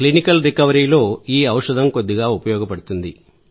clinical రికవరీలో ఈ ఔషధం కొద్దిగా ఉపయోగపడుతుంది